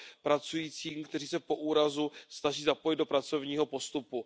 pracujícím, kteří se po úrazu snaží zapojit do pracovního postupu.